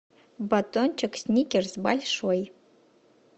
батончик сникерс большой